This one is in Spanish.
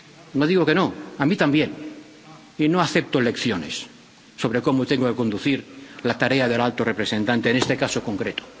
No digo que no, a mí también, y no acepto lecciones sobre cómo tengo que conducir la tarea del alto representante en este caso concreto.